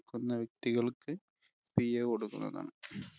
ക്കുന്ന വ്യക്തികള്‍ക്ക് കൊടുക്കുന്നതാണ്.